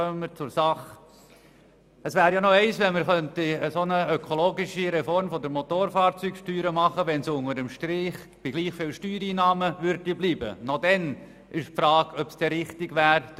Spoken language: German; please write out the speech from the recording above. Wenn wir eine ökologische Reform der Motorfahrzeugsteuer machen könnten, die unter dem Strich gleich viel Steuereinnahmen generieren würde, bliebe die Frage, ob das richtig wäre.